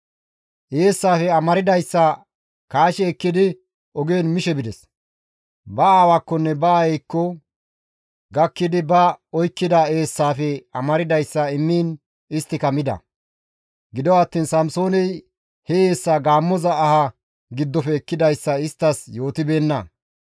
Eessaafe amardayssa kaashi ekkidi ogen mishe bides. Ba aawakkonne ba aayeykko gakkidi ba oykkida eessaafe amardayssa isttas immiin isttika mida; gido attiin Samsooney he eessaa gaammoza aha giddofe ekkidayssa isttas yootibeenna.